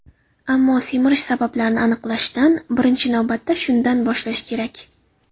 Ammo semirish sabablarini aniqlashdan, birinchi navbatda shundan, boshlash kerak.